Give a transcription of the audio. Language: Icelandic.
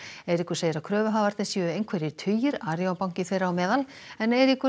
Eiríkur segir að kröfuhafarnir séu einhverjir tugir Arion banki þeirra á meðal en Eiríkur